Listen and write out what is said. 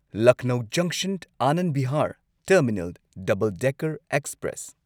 ꯂꯛꯅꯧ ꯖꯪꯁꯟ Anand Vihar terminal double decker express